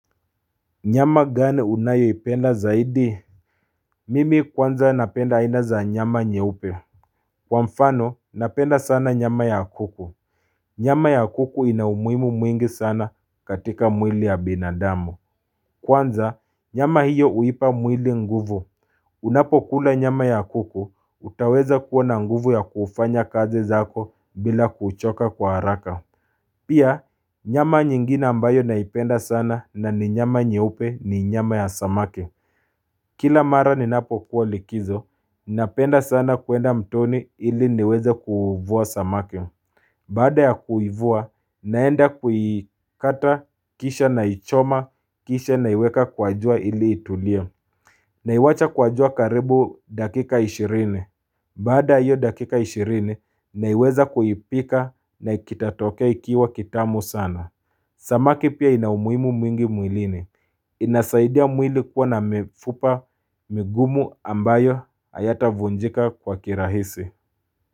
Nyama gani unayoipenda zaidi? Mimi kwanza napenda aina za nyama nyeupe. Kwa mfano, napenda sana nyama ya kuku. Nyama ya kuku ina umuhimu mwingi sana katika mwili ya binadamu. Kwanza, nyama hiyo huipa mwili nguvu. Unapo kula nyama ya kuku, utaweza kuona nguvu ya kufanya kazi zako bila kuchoka kwa haraka. Pia, nyama nyingine ambayo naipenda sana na ni nyama nyeupe ni nyama ya samaki. Kila mara ninapo kuwa likizo, napenda sana kuenda mtoni ili niweze kuvua samaki Baada ya kuivua, naenda kuikata, kisha naichoma, kisha na iweka kwa jua ili itulie Naiacha kwa jua karibu dakika ishirini Baada hiyo dakika ishirini, naweza kuipika na itatokea ikiwa kitamu sana Samaki pia ina umuhimu mwingi mwilini inasaidia mwili kuwa na mifupa migumu ambayo hayatavunjika kwa kirahisi.